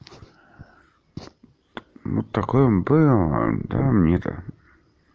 ну такой он был да мне-то